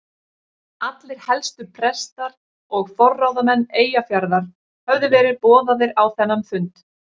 Allir helstu prestar og forráðamenn Eyjafjarðar höfðu verið boðaðir á þennan fund.